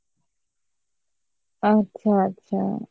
আচ্ছা আচ্ছা